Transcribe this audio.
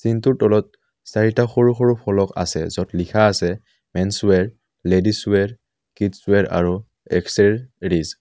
ডিংটোৰ তলত চাৰিটা সৰু সৰু ফলক আছে য'ত লিখা আছে মেনছৱেৰ লেদিছৱেৰ কিডছৱেৰ আৰু আক্সএৰিছ ।